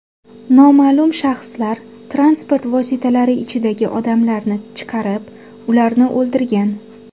Noma’lum shaxslar transport vositalari ichidagi odamlarni chiqarib, ularni o‘ldirgan.